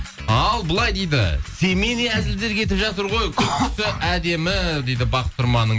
ал былай дейді семейный әзілдер кетіп жатыр ғой күлкісі әдемі дейді бақыт тұрманның